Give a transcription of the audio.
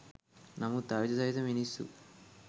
නමුත් ආයුධ සහිතව මිනිස්සු